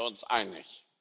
darin sind wir uns einig.